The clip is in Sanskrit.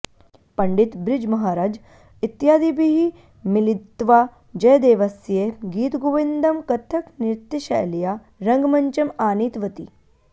पण्डित ब्रिज् महारज् इत्यादिभिः मिलित्वा जयदेवस्य गीतगोविन्दं कथक्नृत्यशैल्या रङ्गमञ्चम् आनीतवती